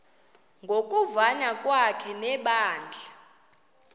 ngokuvana kwakhe nebandla